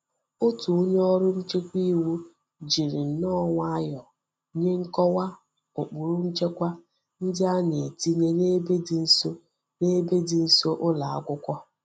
Otu onye órú nchekwa iwu jiri nnoo nwayo nye nkowa ukpuru nchekwa ndi a na-etinye n'ebe di nso n'ebe di nso ulo akwukwo.